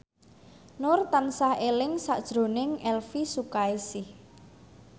Nur tansah eling sakjroning Elvi Sukaesih